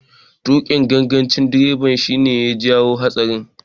Tuƙin gangancin direban shi ne ya jawo haɗarin.